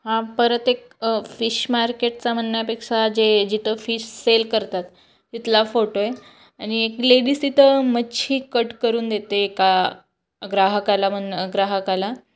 हा परत एक फिश मार्केट म्हणण्या पेक्षा जे जिथे फिश सेल करतात तिथला फोटो आहे आणि एक लेडीस तिथे मच्छी कट करून देते एका ग्राहकाला मना ग्राहकाला.